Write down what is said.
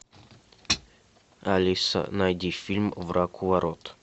алиса найди фильм враг у ворот